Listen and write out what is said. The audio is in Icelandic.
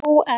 Jú, en.